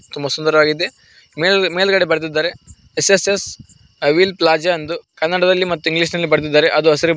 ತುಂಬಾ ಸುಂದರವಾಗಿದೆ ಮೇಲ್ ಮೇಲ್ಗಡೆ ಬರೆದಿದ್ದಾರೆ ಎಸ್_ಎಸ್_ಎಸ್ ವಿಲ್ ಪ್ಲಾಜಾ ಎಂದು ಕನ್ನಡ ಮತ್ತು ಇಂಗ್ಲಿಷ್ ನಲ್ಲಿ ಬರೆದಿದ್ದಾರೆ ಅದು ಹಸಿರು--